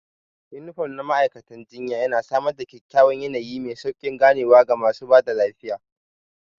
Unifom na ma'aikatan jinya yana samar da kyakkyawan yanayi mai sauƙin ganewa ga masu ba da lafiya.